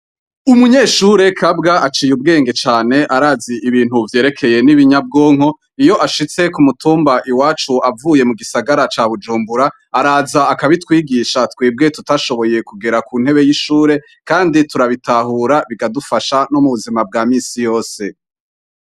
Umunyeshure Kabwa aciye ubwenge cane arazi ibintu vyereyeke n'ibinyabwonko iyi ashitse ku mutumba iwacu avuye mu gisagara ca Bujumbura araza akabitwigisha twebwe tutashoboye kugera ku ntebe y'ishure kandi turabitahura bikadufasha mu buzima bwa minsi yose.